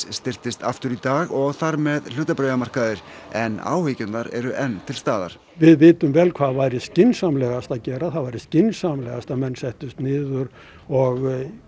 styrktist aftur í dag og þar með hlutabréfamarkaðir en áhyggjurnar eru enn til staðar við vitum vel hvað væri skynsamlegast að gera það væri skynsamlegast að menn settust niður og